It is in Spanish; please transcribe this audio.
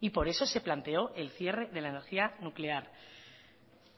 y por eso se planteó el cierre de la energía nuclear